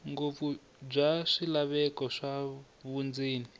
ngopfu bya swilaveko swa vundzeni